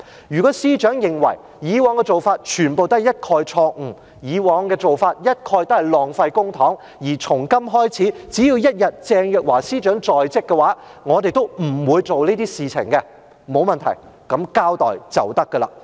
如果司長認為，以往的做法，全部都是錯誤；以往的做法，一概都是浪費公帑，而從今開始，只要鄭若驊一日在職，我們都不會做這些事情，那麼，沒問題，作交代便可以。